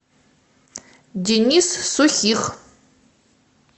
денис сухих